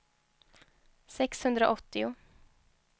sexhundraåttio